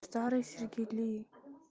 старые сергели